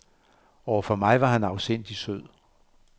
Overfor mig var han afsindig sød.